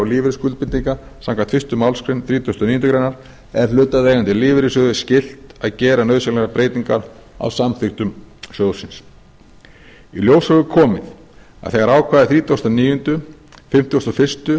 lífeyrisskuldbindinga samkvæmt fyrstu málsgrein þrítugustu og níundu grein er hlutaðeigandi lífeyrissjóði skylt að gera nauðsynlegar breytingar á samþykktum sjóðsins í ljós hefur komið að þegar ákvæði þrítugustu og níunda fimmtugasta og fyrsta og